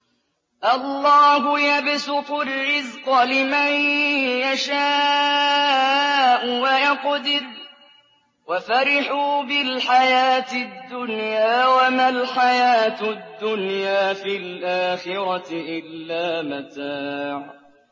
اللَّهُ يَبْسُطُ الرِّزْقَ لِمَن يَشَاءُ وَيَقْدِرُ ۚ وَفَرِحُوا بِالْحَيَاةِ الدُّنْيَا وَمَا الْحَيَاةُ الدُّنْيَا فِي الْآخِرَةِ إِلَّا مَتَاعٌ